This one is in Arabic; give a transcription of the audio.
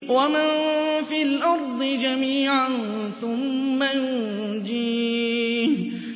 وَمَن فِي الْأَرْضِ جَمِيعًا ثُمَّ يُنجِيهِ